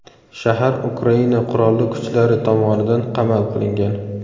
Shahar Ukraina Qurolli kuchlari tomonidan qamal qilingan.